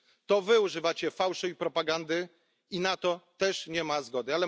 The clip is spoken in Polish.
To wy używacie fałszu i propagandy i na to też nie ma zgody.